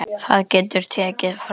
Það getur tekið frá